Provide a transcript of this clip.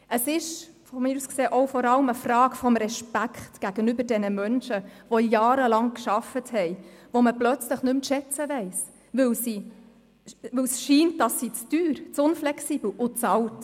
Es ist meiner Meinung nach auch vor allem eine Frage des Respekts gegenüber diesen Menschen, die jahrelang gearbeitet haben, die man plötzlich nicht mehr zu schätzen weiss, weil es den Anschein macht, sie seien zu teuer, zu unflexibel und zu alt.